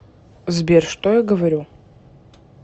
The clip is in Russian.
сбер что я говорю